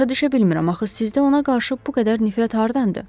Başa düşə bilmirəm axı sizdə ona qarşı bu qədər nifrət hardandır?